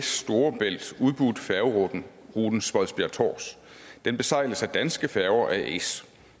storebælt udbudt færgeruten spodsbjerg tårs den besejles af danske færger as